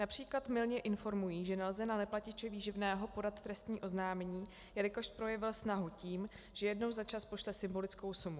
Například mylně informují, že nelze na neplatiče výživného podat trestní oznámení, jelikož projevil snahu tím, že jednou za čas pošle symbolickou sumu.